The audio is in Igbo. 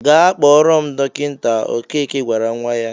"Gaa kpọrọ m dọkịta," Okeke gwara nnwa ya.